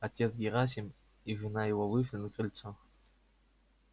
отец герасим и жена его вышли на крыльцо